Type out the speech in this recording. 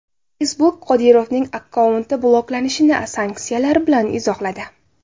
Facebook Qodirovning akkaunti bloklanishini sanksiyalar bilan izohladi.